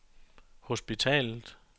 hospitalet